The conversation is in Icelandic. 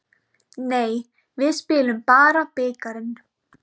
Nei, við spilum bara bikarinn.